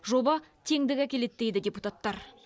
жоба теңдік әкеледі дейді депутаттар